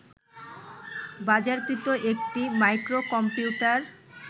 বাজারকৃত একটি মাইক্রোকম্পিউটার